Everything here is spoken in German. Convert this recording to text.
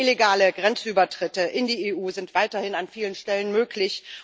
Illegale Grenzübertritte in die EU sind weiterhin an vielen Stellen möglich.